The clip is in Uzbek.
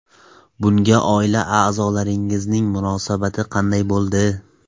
Bunga oila a’zolaringizning munosabati qanday bo‘ldi?